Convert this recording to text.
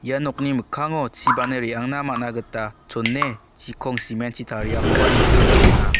ia nokni mikkango chi banne re·angna man·a gita chone chikong cement-chi tariakoba nikna man·a.